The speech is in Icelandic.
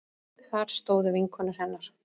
Þar stóðu vinkonur hennar